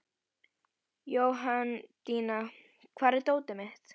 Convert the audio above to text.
Jóhanndína, hvar er dótið mitt?